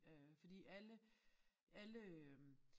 Øh fordi alle alle øh